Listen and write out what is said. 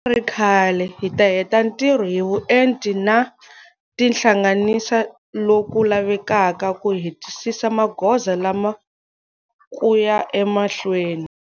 Ku nga ri khale hi ta heta ntirho hi vuenti na ku tihlanganisa lo ku lavekaka ku hetisisa magoza lama ku ya emahlweni.